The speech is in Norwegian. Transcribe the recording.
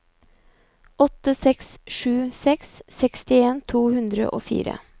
åtte seks sju seks sekstien to hundre og fire